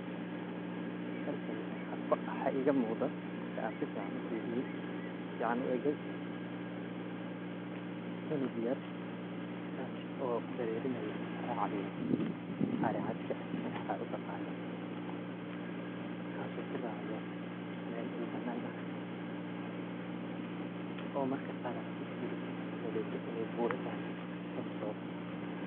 Halkani waxaa iiga muuqada marka aan sifican u firiyay oo sifiican u eegay, cunug yar kaasi oo darerinayo ama raacayo ari cadka waxaa utaqaano ,kaas oo ku raacayo meel dhul banaan ah oo marka qaar aa sii firisid aad u maleysid in ay buura tahay hostood.